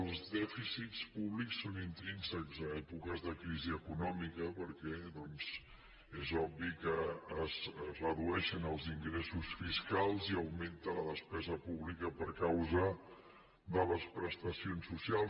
els dèficits públics són intrínsecs en èpoques de crisi econòmica perquè doncs és obvi que es redueixen els ingressos fiscals i augmenta la despesa pública per causa de les prestacions socials